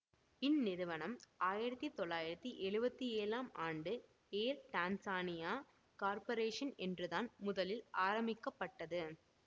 இந்நிறுவனம் ஆயிரத்தி தொள்ளாயிரத்தி எழுவத்தி ஏழாம் ஆண்டு ஏர் டான்சானியா கார்பரேஷன் என்றுதான் முதலில் ஆரம்பிக்க பட்டது